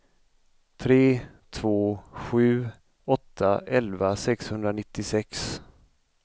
tre två sju åtta elva sexhundranittiosex